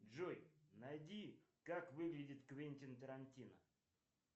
джой найди как выглядит квентин тарантино